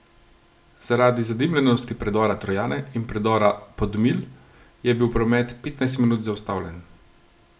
Zaradi zadimljenosti predora Trojane in predora Podmilj je bil promet petnajst minut zaustavljen.